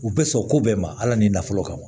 U bɛ sɔn ko bɛɛ ma ala ni nafolo kama ma